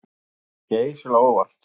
Þeir komu mér geysilega á óvart